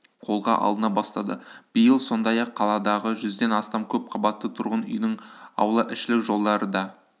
қолға алына бастады биыл сондай-ақ қаладағы жүзден астам көп қабатты тұрғын үйдің аулаішілік жолдары да